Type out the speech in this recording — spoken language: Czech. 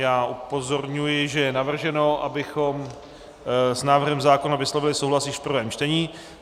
Já upozorňuji, že je navrženo, abychom s návrhem zákona vyslovili souhlas již v prvém čtení.